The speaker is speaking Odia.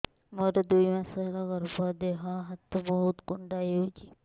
ମୋର ଦୁଇ ମାସ ହେଲା ଗର୍ଭ ଦେହ ହାତ ବହୁତ କୁଣ୍ଡାଇ ହଉଚି